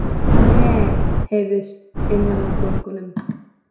Meee, heyrðist innan úr göngunum.